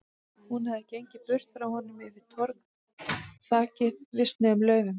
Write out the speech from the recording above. Hún hafði gengið burtu frá honum, yfir torg þakið visnuðum laufum.